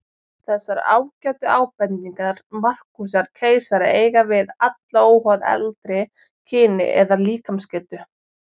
Þessar ágætu ábendingar Markúsar keisara eiga við alla, óháð aldri, kyni eða líkamsgetu.